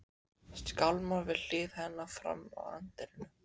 Skálmar við hlið hennar fram að anddyrinu.